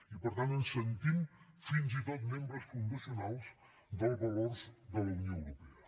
i per tant ens sentim fins i tot membres fundacionals dels valors de la unió europea